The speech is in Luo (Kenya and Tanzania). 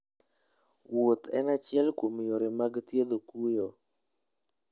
Wuoth en achiel kuom yore mag thiedho kuyo.